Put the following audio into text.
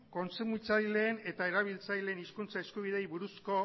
kontsumitzaileen eta erabiltzaileen hizkuntza eskubideei buruzko